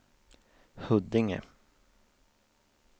Huddinge